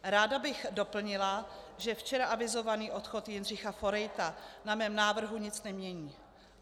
Ráda bych doplnila, že včera avizovaný odchod Jindřicha Forejta na mém návrhu nic nemění.